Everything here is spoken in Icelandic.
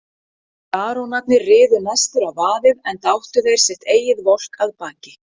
Barónarnir riðu næstir á vaðið, enda áttu þeir sitt eigið volk að baki.